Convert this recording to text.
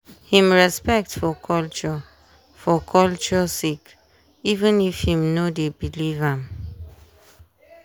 him respect for culture for culture sake even if him no dey believe am.